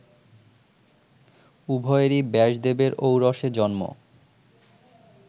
উভয়েরই ব্যাসদেবের ঔরসে জন্ম